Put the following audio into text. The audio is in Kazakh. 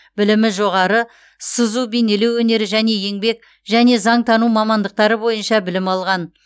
білімі жоғары сызу бейнелеу өнері және еңбек және заңтану мамандықтары бойынша білім алған